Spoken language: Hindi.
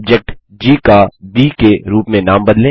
ऑब्जेक्ट जी का ब के रूप में नाम बदलें